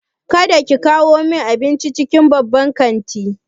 Kada ki kawo min abincin cikin babban kanti!